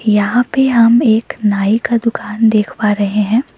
यहां पे हम एक नाई का दुकान देख पा रहे हैं।